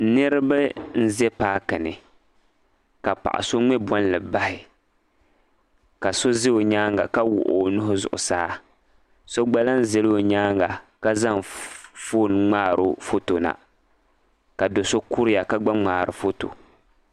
Niriba n-ʒe paaki ni ka paɣ' so ŋme bolli bahi ka so za o nyaaŋa ka wuɣi o nuhi zuɣusaa so ɡba lan zala o nyaaŋ ka zaŋ foon ŋmaari o fɔto na ka do' so kuriya ka ɡba ŋmaari o fɔto